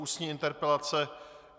Ústní interpelace